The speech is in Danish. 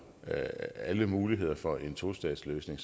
at alle muligheder for en tostatsløsning